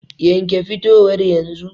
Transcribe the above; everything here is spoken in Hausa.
Yanke fitowar yanzu.